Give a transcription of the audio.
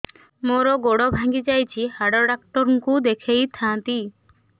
ମୋର ଗୋଡ ଭାଙ୍ଗି ଯାଇଛି ହାଡ ଡକ୍ଟର ଙ୍କୁ ଦେଖେଇ ଥାନ୍ତି